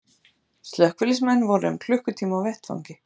Slökkviliðsmenn voru um klukkutíma á vettvangi